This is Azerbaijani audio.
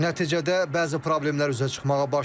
Nəticədə bəzi problemlər üzə çıxmağa başlayıb.